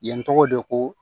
Yen tɔgɔ de ko